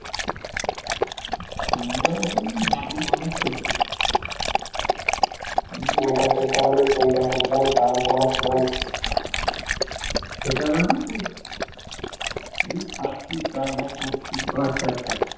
খেতে হবে মানে এই খাচ্ছিস তারপর করছি. ও আচ্ছা আচ্ছা.